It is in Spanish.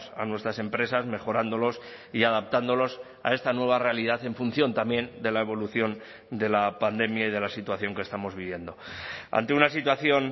a nuestras empresas mejorándolos y adaptándolos a esta nueva realidad en función también de la evolución de la pandemia y de la situación que estamos viviendo ante una situación